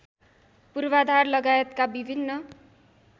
पूर्वाधार लगायतका विभिन्न